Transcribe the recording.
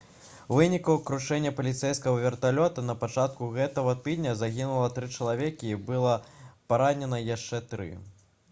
у выніку крушэння паліцэйскага верталёта на пачатку гэтага тыдня загінула тры чалавекі і было паранена яшчэ тры